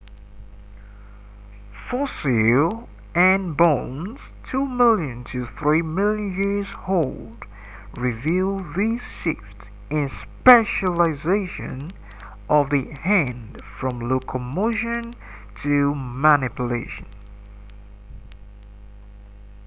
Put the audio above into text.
fossil hand bones two million to three million years old reveal this shift in specialization of the hand from locomotion to manipulation